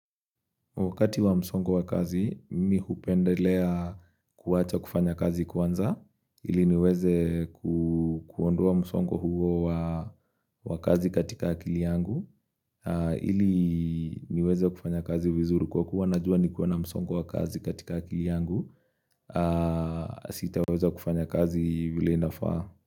Wakati wa msongo wa kazi, mimi hupendelea kuacha kufanya kazi kwanza, ili niweze kuondua msongo huo wa kazi katika akili yangu, ili niweze kufanya kazi vizuri kwa kuwa najua nikikuwa na msongo wa kazi katika akili yangu, sitaweza kufanya kazi vile inafaa.